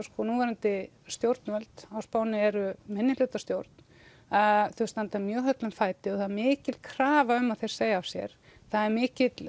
núverandi stjórnvöld á Spáni eru minnihlutastjórn þau standa mjög höllum fæti og það er mikil krafa um að þeir segi af sér það er mikill